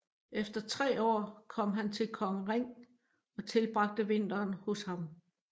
Efter tre år kom han til kong Ring og tilbragte vinteren hos ham